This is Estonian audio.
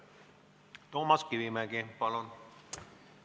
Toomas Kivimägi, palun!